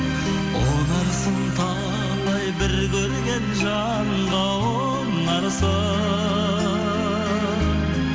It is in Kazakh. ұнарсың талай бір көрген жанға ұнарсың